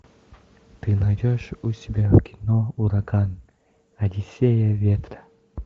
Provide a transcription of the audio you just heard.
ты найдешь у себя кино ураган одиссея ветра